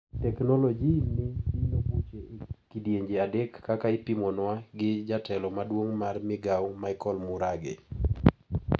Teknoloji ni dino buche e kidienje adek kaka ipimonwa gi jatelo maduong` mar migao Michael Murage.